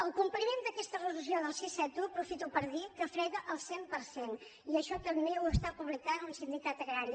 el compliment d’aquesta resolució sis cents i setanta un aprofito per dir que frega el cent per cent i això també ho està pu·blicant un sindicat agrari